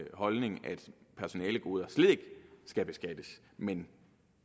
holdning at personalegoder slet ikke skal beskattes men